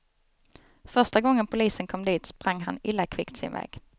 Första gången polisen kom dit sprang han illa kvickt sin väg.